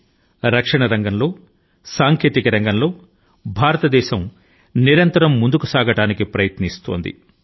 కానీ ఈ రోజు న రక్షణ మరియు సాంకేతిక రంగాల లో భారతదేశం ఆ రంగాల లో ముందుకు సాగడానికి అవిశ్రాంతం గా ప్రయత్నిస్తోంది